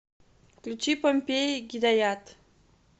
включи помпеи гидаят